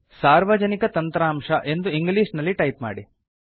ಸಾರ್ವಜನಿಕ ತಂತ್ರಾಂಶ ಎಂದು ಇಂಗ್ಲಿಷ್ ನಲ್ಲಿ ಟೈಪ್ ಮಾಡಿ